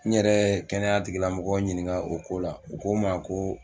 N yɛrɛ kɛnɛya tigilamɔgɔw ɲininka o ko la u ko n ma ko